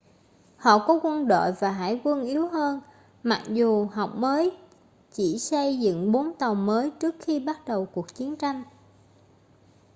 họ có quân đội và hải quân yếu hơn mặc dù học mới chỉ xây dựng bốn tàu mới trước khi bắt đầu cuộc chiến tranh